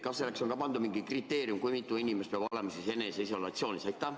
Kas selleks on ka pandud mingi kriteerium, kui mitu inimest peab olema eneseisolatsioonis?